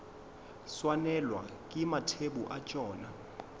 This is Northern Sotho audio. swanelwa ke mathebo a tšona